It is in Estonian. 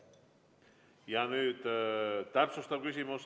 Nüüd täpsustav küsimus.